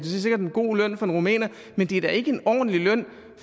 god løn for en rumæner men det er da ikke en ordentlig løn